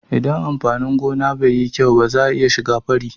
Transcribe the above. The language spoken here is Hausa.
Inda amfani gona bai yi kyau ba za'a iya shiga fari